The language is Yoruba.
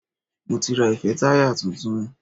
Mo ti ra ìfẹ́táyà tuntun.